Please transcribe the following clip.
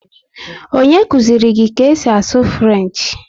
Onye kụziri gị ka esi asụ Frenchi?